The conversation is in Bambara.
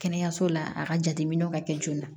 Kɛnɛyaso la a ka jateminɛw ka kɛ joona